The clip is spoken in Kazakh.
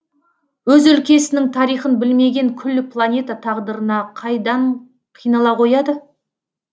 өз өлкесінің тарихын білмеген күллі планета тағдырына қайдан қинала қояды